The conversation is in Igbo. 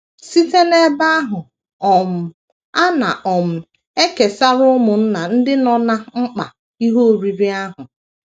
Site n’ebe ahụ, um a na um - ekesara ụmụnna ndị nọ ná mkpa ihe oriri ahụ.